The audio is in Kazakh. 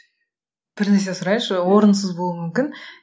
бір нәрсе сұрайыншы орынсыз болуы мүмкін